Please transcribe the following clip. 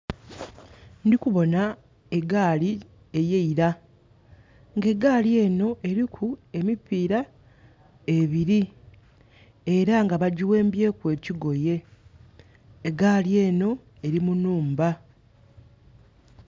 Ndikuboona egaali eyeira nga egaali eno eriku emipiira ebiri era nga bagiwembye ku ekigoye. Egaali eno eri mu nhumba